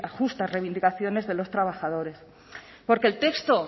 justas reivindicaciones de los trabajadores porque el texto